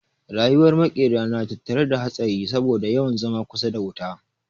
Rayuwar makera na tattare da hatsari saboda yawan zama kusa da wuta